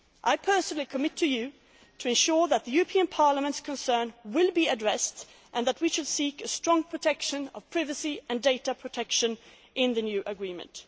I give a personal commitment to you to ensure that the European Parliament's concern will be addressed and that we shall seek a strong protection of privacy and data protection in the new agreement.